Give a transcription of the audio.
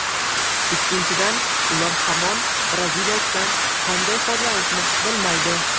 Ikkinchidan, ular hamon braziliyalikdan qanday foydalanishni bilmaydi.